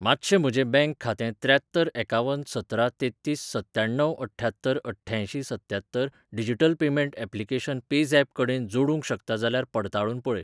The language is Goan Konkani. मातशें म्हजें बँक खातें त्र्यात्तर एकावन सतरा तेत्तीस सत्त्याण्णव अठ्ठ्यात्तर अठ्ठ्यांयशीं सत्त्यात्तर डिजिटल पेमेंट ऍप्लिकेशन पेझॅप कडेन जोडूंक शकता जाल्यार पडताळून पळय.